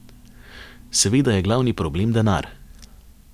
Seveda je glavni problem denar.